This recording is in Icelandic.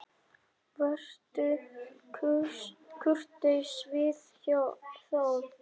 Vertu kurteis við þá!